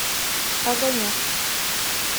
огонек